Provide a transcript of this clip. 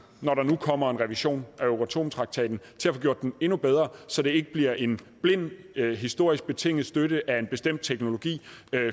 når der nu kommer en revision af euratomtraktaten til at få gjort den endnu bedre så det ikke bliver en blind historisk betinget støtte af en bestemt teknologi